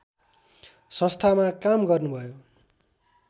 संस्थामा काम गर्नुभयो।